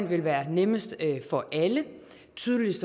vil være nemmest for alle tydeligst